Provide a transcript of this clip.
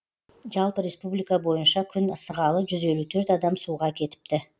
жалпы республика бойынша күн ысығалы жүз елу төрт адам суға кетіпті